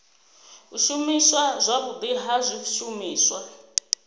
u shumiswa zwavhudi ha zwishumiswa